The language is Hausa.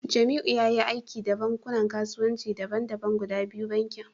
Jamiu yayi aiki da bankunan kasuwanci daban-daban guda biyu, bankin